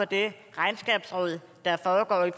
det regnskabsrod der foregår i